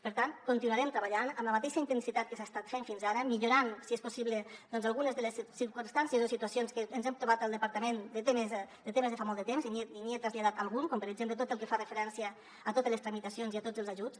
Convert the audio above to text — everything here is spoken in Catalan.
per tant continuarem treballant amb la mateixa intensitat que s’ha estat fent fins ara millorant si és possible doncs algunes de les circumstàncies o situacions que ens hem trobat al departament de temes de fa molt de temps i n’hi he traslladat algun com per exemple tot el que fa referència a totes les tramitacions i a tots els ajuts